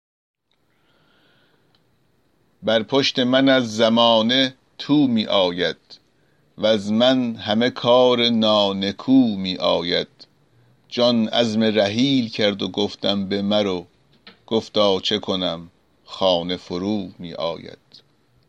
بر پشت من از زمانه تو می آید وز من همه کار نانکو می آید جان عزم رحیل کرد و گفتم بمرو گفتا چه کنم خانه فرومی آید